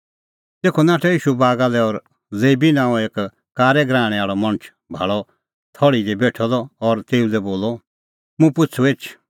तेखअ नाठअ ईशू बागा लै और लेबी नांओं एक कारै गराहणै आल़अ मणछ भाल़अ थल़्ही दी बेठअ द और तेऊ लै बोलअ मुंह पिछ़ू एछ